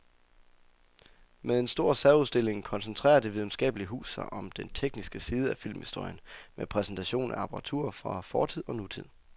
Med en stor særudstilling koncentrerer det videnskabelige hus sig om den tekniske side af filmhistorien med præsentation af apparatur fra fortid og nutid.